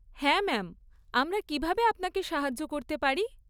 হ্যাঁ ম্যাম, আমরা কীভাবে আপনাকে সাহায্য করতে পারি?